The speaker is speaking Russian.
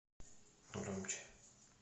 громче